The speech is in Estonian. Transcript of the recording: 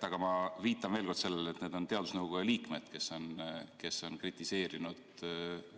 Aga ma viitan veel kord sellele, et teadusnõukoja liikmed on kritiseerinud